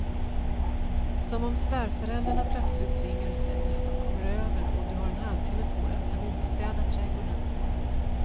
Som om svärföräldrarna plötsligt ringer och säger att de kommer över och du har en halvtimme på dig att panikstäda trädgården.